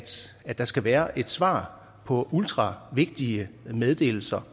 der skal være et svar på ultravigtige meddelelser